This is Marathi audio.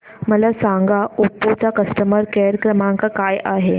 मला सांगा ओप्पो चा कस्टमर केअर क्रमांक काय आहे